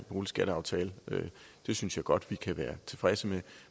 boligskataftale det synes jeg godt vi kan være tilfredse med